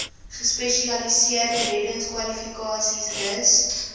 gespesialiseerde reddingskwalifikasies rus